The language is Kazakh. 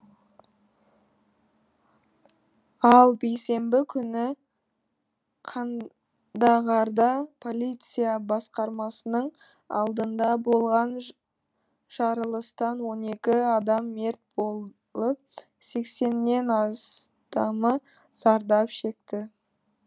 ал бейсенбі күні қандағарда полиция басқармасының алдында болған жарылыстан он екі адам мерт болып сексеннен астамы зардап шекті